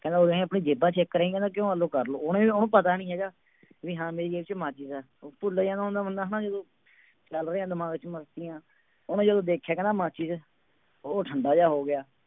ਕਹਿੰਦਾ ਉਰੇ ਆਈਂ ਆਪਣੀ ਜੇਬਾਂ check ਕਰਵਾਈ ਕਹਿੰਦਾ ਕਿਉਂ ਆਹ ਲਓ ਕਰ ਲਓ, ਉਹਨੇ ਉਹਨੂੰ ਪਤਾ ਨੀ ਹੈਗਾ ਵੀ ਹਾਂ ਮੇਰੀ ਜੇਬ ਚ ਮਾਚਿਸ ਹੈ ਉਹ ਭੁੱਲ ਜਾਂਦਾ ਹੁੰਦਾ ਬੰਦਾ ਹਨਾ ਜਦੋਂ ਚੱਲ ਰਹੀਆਂ ਦਿਮਾਗ ਚ ਮਸਤੀਆਂ, ਉਹਨੇ ਜਦੋਂ ਦੇਖਿਆ ਕਹਿੰਦਾ ਮਾਚਿਸ ਉਹ ਠੰਢਾ ਜਿਹਾ ਹੋ ਗਿਆ।